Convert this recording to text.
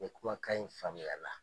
O kumakan in faamuyara .